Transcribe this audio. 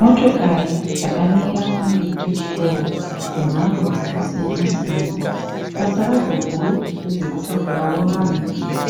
Motokari dzakamira pamberi pechitoro dzemhando dzakasiyanasiyana, basa radzo guru nderekutakura vanhu